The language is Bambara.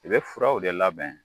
I bɛ furaw de labɛn